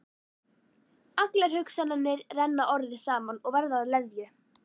Allar hugsanirnar renna orðið saman og verða að leðju.